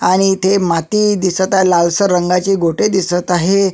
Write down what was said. आणि इथे माती दिसत आहे लाल सर रंगाचे गोटे दिसत आहे.